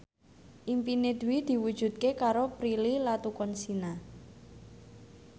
impine Dwi diwujudke karo Prilly Latuconsina